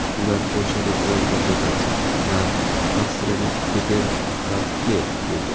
Ular polshalik Olga Tokarchuk hamda avstriyalik Peter Xandke bo‘lgan.